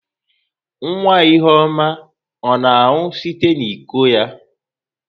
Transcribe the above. Nwa ihuoma ọ na-aṅụ site n'iko ya?